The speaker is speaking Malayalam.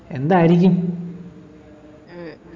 എന്തായിരിക്കും